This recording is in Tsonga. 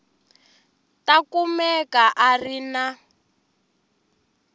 ta kumeka a ri na